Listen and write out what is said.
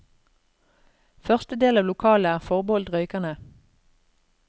Første del av lokalet er forbeholdt røykerne.